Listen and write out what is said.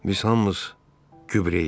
Biz hamımız gübrəyik.